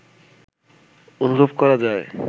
অনুভব করা যায়